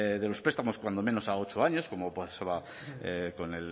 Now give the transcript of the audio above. de los prestamos cuando menos a ocho años como pasaba con